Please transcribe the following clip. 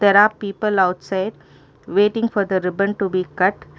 there are people outside waiting for the ribbon to be cut.